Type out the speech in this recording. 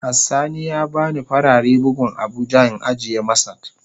Has sani ya bani farare buhun abuja in ajiye masat.